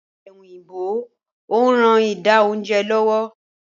Ọ̀pẹ́ òyìnbó ń ran ida oúnjẹ lọ́wọ́